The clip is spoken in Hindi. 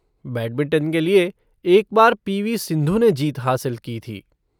बैडमिंटन के लिए, एक बार पी. वी. सिंधु ने जीत हासिल की थी।